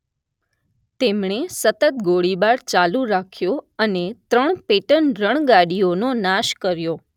તેમણે સતત ગોળીબાર ચાલુ રાખ્યો અને ત્રણ પેટન રણગાડીઓનો નાશ કર્યો